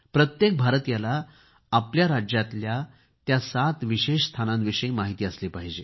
प्रत्येक भारतीयाला आपल्या राज्यातल्या त्या सात विशेष स्थानांविषयी माहिती असली पाहिजे